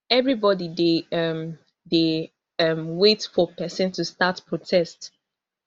everybody dey um dey um wait for pesin to start protest